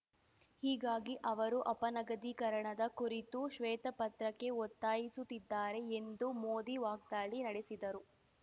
ಹೀಗಾಗಿ ಅವರು ಅಪನಗದೀಕರಣದ ಕುರಿತು ಶ್ವೇತ ಪತ್ರಕ್ಕೆ ಒತ್ತಾಯಿಸುತ್ತಿದ್ದಾರೆ ಎಂದು ಮೋದಿ ವಾಗ್ದಾಳಿ ನಡೆಸಿದರು